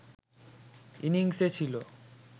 ইনিংসে ছিল